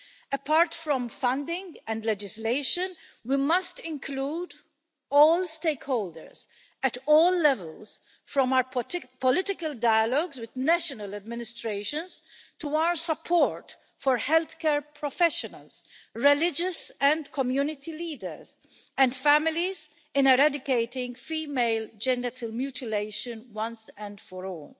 Apart from funding and legislation, we must include all stakeholders at all levels, from our political dialogues with national administrations, to our support for health care professionals, religious and community leaders, and families in eradicating female genital mutilation once and for all.